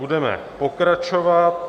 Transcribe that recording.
Budeme pokračovat.